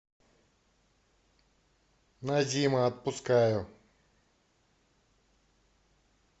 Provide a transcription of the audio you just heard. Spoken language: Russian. назима отпускаю